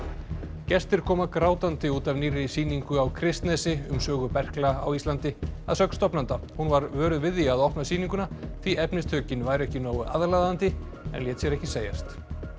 gestir koma grátandi út af nýrri sýningu á Kristnesi um sögu berkla á Íslandi að sögn stofnanda hún var vöruð við því að opna sýninguna því efnistökin væru ekki nógu aðlaðandi en lét sér ekki segjast